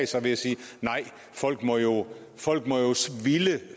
sig at sige nej folk må jo ville